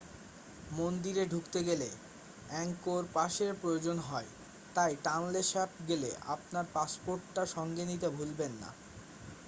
মন্দিরে ঢুকতে গেলে অ্যাঙ্গকোর পাসের প্রয়োজন হয় তাই টনলে স্যাপ গেলে আপনার পাসপোর্টটা সঙ্গে নিতে ভুলবেন না